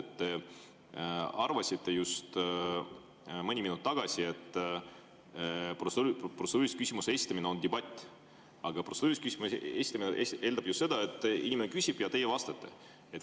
Mõni minut tagasi te, et protseduurilise küsimuse esitamine on debatt, aga protseduurilise küsimuse küsimine eeldab ju seda, et inimene küsib ja teie vastate.